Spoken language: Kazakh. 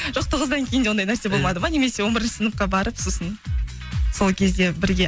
жоқ тоғыздан кейін де ондай нәрсе болмады ма немесе он бірінші сыныпқа барып сосын сол кезде бірге